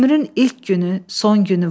Ömrün ilk günü, son günü var.